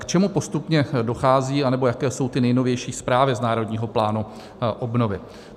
K čemu postupně dochází nebo jaké jsou ty nejnovější zprávy z Národního plánu obnovy.